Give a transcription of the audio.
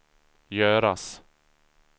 göras